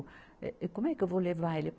Eh, eh, como é que eu vou levar ele?